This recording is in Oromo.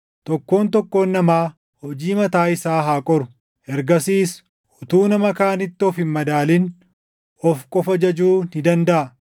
Tokkoon tokkoon namaa hojii mataa isaa haa qoru. Ergasiis utuu nama kaanitti of hin madaalin of qofa jajuu ni dandaʼa;